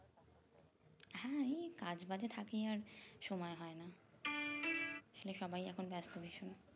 এই কাজ বাজে থাকি আর সময় হয় না আসলে সবাই এখন ব্যাস্ত ভীষণ